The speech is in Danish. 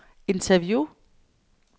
interview